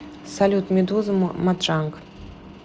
салют медуза матранг